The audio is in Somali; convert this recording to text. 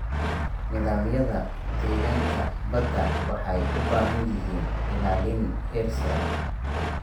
Nidaamyada deegaanka badda waxay u baahan yihiin ilaalin heerar sare ah.